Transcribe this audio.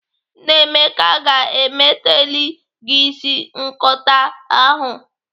Nnaemeka ga-emeteli gị isi nkọato ahụ.